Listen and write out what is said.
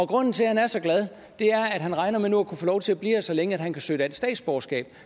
grunden til at han er så glad er at han regner med nu at kunne få lov til at blive her så længe at han kan søge dansk statsborgerskab